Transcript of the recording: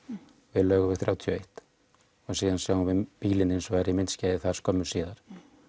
við Laugarveg þrjátíu og eitt og svo sjáum við bílinn hins vegar í myndskeiði þar skömmu síðar